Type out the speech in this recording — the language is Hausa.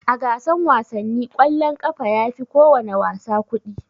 A gasan wasanni kwallon ƙafa yafi kowana wasa kuɗi.